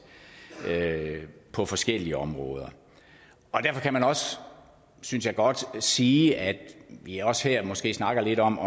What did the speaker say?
på forskellige områder og derfor kan man også synes jeg godt sige at vi også her måske snakker lidt om